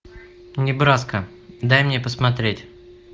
небраска дай мне посмотреть